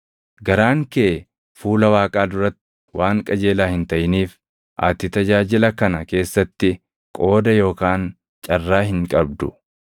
Garaan kee fuula Waaqaa duratti waan qajeelaa hin taʼiniif ati tajaajila kana keessatti qooda yookaan carraa hin qabdu.